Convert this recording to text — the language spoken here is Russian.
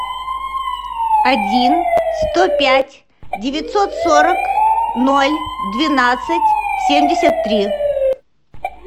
один сто пять девятьсот сорок ноль двенадцать семьдесят три